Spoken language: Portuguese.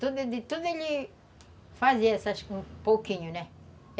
Tudo ele fazia, acho que um pouquinho, né?